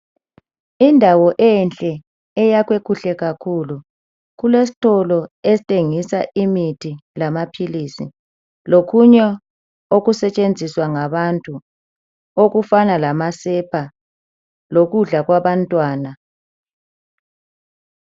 Indawo enhle eyakhwe kuhle kakhulu kulesitolo esthengisa imithi lamaphilisi lokunye okusetshenziswa ngabantu okufana lamasepa lokudla kwabantwana .